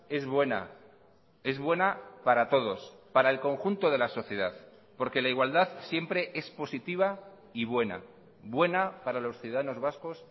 es buena es buena para todos para el conjunto de la sociedad porque la igualdad siempre es positiva y buena buena para los ciudadanos vascos